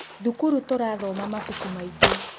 Thukuru tũrathoma mabuku maingĩ